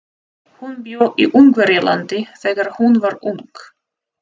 Hún bjó í Ungverjalandi þegar hún var ung.